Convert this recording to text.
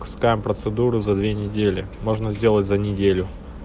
пускаем процедуру за две недели можно сделать за неделю